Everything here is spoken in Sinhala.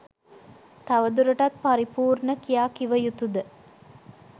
තව දුරටත් පරිපූර්ණ කියා කිව යුතුද.